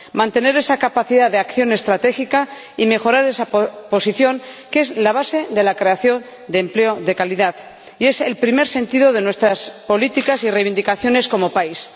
Mantener esa capacidad de acción estratégica y mejorar esa posición, que es la base de la creación de empleo de calidad y es el primer sentido de nuestras políticas y reivindicaciones como país.